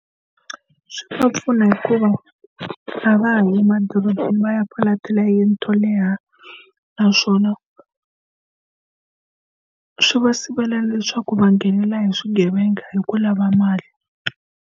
Swi va pfuna hi ku va a va ha yi madorobeni va ya fola ti layeni to leha, naswona swi va sivela leswaku va nghenela hi swigevenga hi ku lava mali.